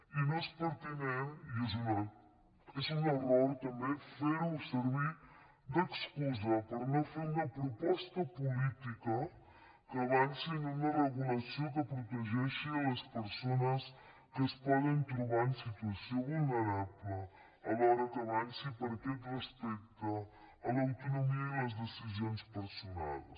i no és pertinent i és un error també fer ho servir d’excusa per no fer una proposta política que avanci en una regulació que protegeixi les persones que es poden trobar en situació vulnerable alhora que avanci per aquest respecte a l’autonomia i a les decisions personals